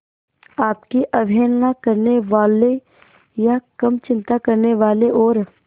आपकी अवहेलना करने वाले या कम चिंता करने वाले और